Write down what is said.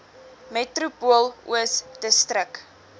metropool oos distrik